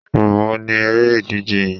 Ìgbà wo ni eré ìdíje yín?